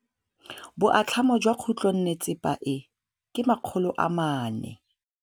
Boatlhamô jwa khutlonnetsepa e, ke 400.